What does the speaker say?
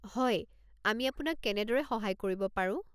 হয়। আমি আপোনাক কেনেদৰে সহায় কৰিব পাৰোঁ?